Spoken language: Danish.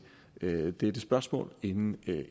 dette spørgsmål inden